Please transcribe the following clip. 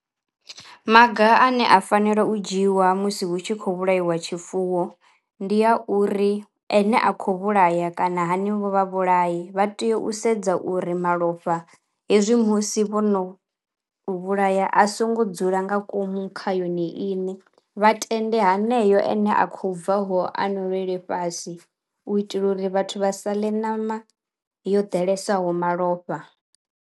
Maga ane a fanelo u dzhiiwa musi hu tshi khou vhulaiwa tshifuwo ndi a uri ene a khou vhulaya kana hanevho vha vhulayi vha tea u sedza uri malofha hezwi musi vhono u vhulaya a songo dzula nga ngomu kha yone iṋe, vha tende haneyo ene a khou bvaho a nwelele fhasi u itela uri vhathu vha saḽe ṋama yo ḓalesaho malofha.